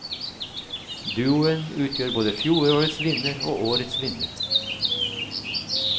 Duoen utgjør både fjorårets vinner og årets vinner.